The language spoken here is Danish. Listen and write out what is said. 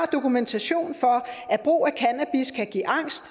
dokumentation for at brug af cannabis kan give angst